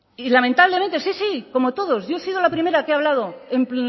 y lamentablemente sí sí como todos yo he sido la primera que ha hablado en